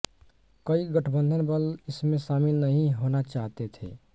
कई गठबंधन बल इसमें शामिल नहीं होना चाहते थे